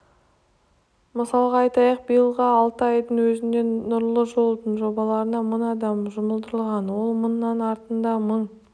мысалға айтайық биылғы алты айдың өзінде нұрлы жолдың жобаларына мың адам жұмылдырылған ол мыңның артында мың